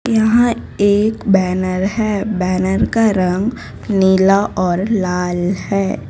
यहां एक बैनर है बैनर का रंग नीला और लाल है।